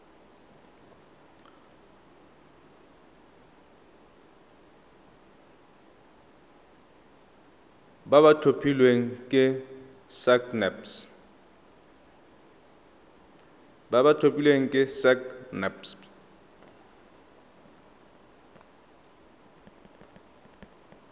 ba ba tlhophilweng ke sacnasp